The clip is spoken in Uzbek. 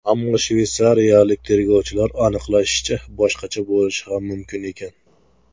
Ammo shveysariyalik tergovchilar aniqlashicha, boshqacha bo‘lishi ham mumkin ekan.